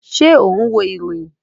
Ṣé o n wo ìròyìn?